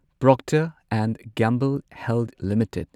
Procter and Gamble Health limited